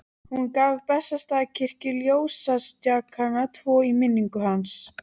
Hún gaf Bessastaðakirkju ljósastjakana tvo í minningu hans.